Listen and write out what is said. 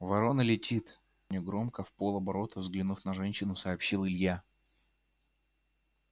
ворона летит негромко вполоборота взглянув на женщину сообщил илья